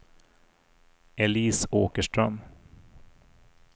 Elise Åkerström